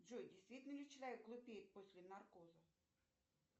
джой действительно ли человек глупеет после наркоза